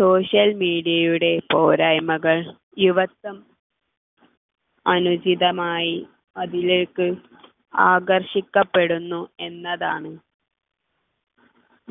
social media യുടെ പോരായ്മകൾ യുവത്വം അനുചിതമായി അതിലേക്ക് ആകർഷിക്കപ്പെടുന്നു എന്ന് എന്നതാണ്